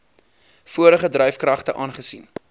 vorige dryfkragte aangesien